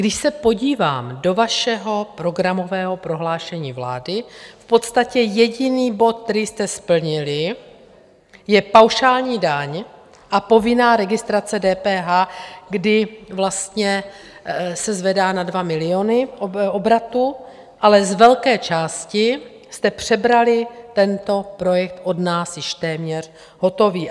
Když se podívám do vašeho programového prohlášení vlády, v podstatě jediný bod, který jste splnili, je paušální daň a povinná registrace DPH, kdy vlastně se zvedá na 2 miliony obratu, ale z velké části jste přebrali tento projekt od nás, již téměř hotový.